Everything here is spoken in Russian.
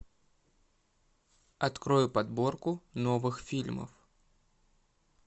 открой подборку новых фильмов